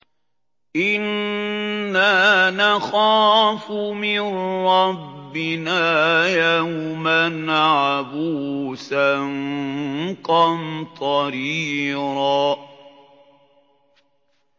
إِنَّا نَخَافُ مِن رَّبِّنَا يَوْمًا عَبُوسًا قَمْطَرِيرًا